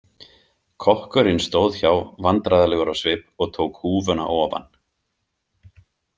Kokkurinn stóð hjá vandræðalegur á svip og tók húfuna ofan.